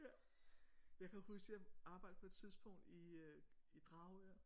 Ja jeg kan huske jeg arbejdede på et tidspunkt i øh i Dragør